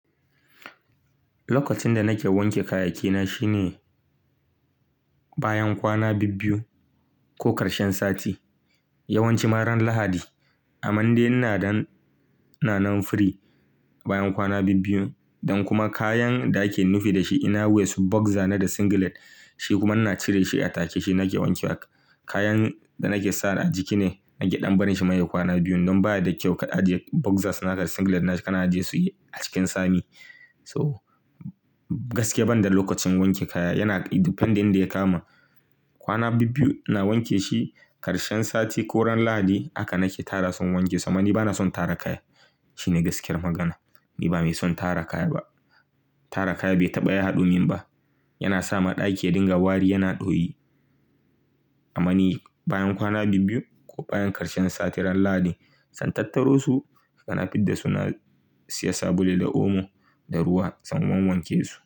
Lokacin da nake wanke kayaki na shine bayan kwana biyu ko ƙarshen sati, yawanci ran Lahadi. Amande ina nan firi bayan kwana biyu don kuma kayan da ake nufi dashi inner waist boxer na da singlet shi kuma ina cire shi a take shike nake wanke. Kayan da nake sa a jikin ne nake dan barin shi ma ya dan kwana biyu, wannan baya da kyau ka aje boxer da singlet kana aje su a cikin sami. So gaskiya banda lokacin wanke kaya yana depending da ya kama. Kwana biyu ina wanka shi karshen sati ko ran lahadi haka nake tara su in wanke su amma ni bana son tara kaya shine gaskiyan magana in ba mai son tara kaya ba tara kaya bai taba ya hadomi ba. Yana sa ma ɗaki ya dinga wari yana ɗoyi. Amama ni bayan kwana biyu ko bayan ƙarshen sati ran Lahadi zan tattaro su kana fidda su na siya sabulu da omo da ruwa sai in wawanke su.